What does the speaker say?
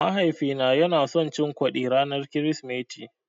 Mahaifina yana son cin kwaɗi ranar Kirsimeti.